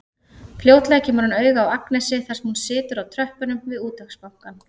Fljótlega kemur hann auga á Agnesi þar sem hún situr á tröppunum við Útvegsbankann.